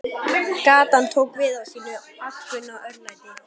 Gatan tók við af sínu alkunna örlæti.